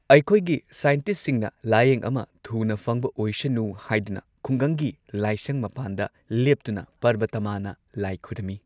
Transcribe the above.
ꯑꯩꯈꯣꯏꯒꯤ ꯁꯥꯏꯟꯇꯤꯁꯠꯁꯤꯡꯅ ꯂꯥꯢꯌꯦꯡ ꯑꯃ ꯊꯨꯅ ꯐꯡꯕ ꯑꯣꯏꯁꯅꯨ ꯍꯥꯏꯗꯨꯅ ꯈꯨꯡꯒꯡꯒꯤ ꯂꯥꯏꯁꯡ ꯃꯄꯥꯟꯗ ꯂꯦꯞꯇꯨꯅ ꯄꯥꯔꯕꯥꯇꯥꯝꯃꯥꯅ ꯂꯥꯏ ꯈꯣꯏꯔꯝꯃꯤ꯫